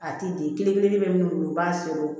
A ti den kelen kelen bɛ min bolo u b'a sɔrɔ